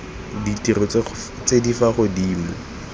ditiro tse di fa godimo